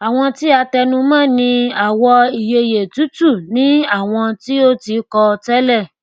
àwọn tí a tẹnu mọ ní àwò ìyeyè tútù ni àwọn tí o ti kọ tẹlẹ